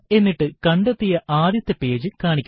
എന്നിട്ട് കണ്ടെത്തിയ ആദ്യത്തെ പേജ് കാണിക്കുക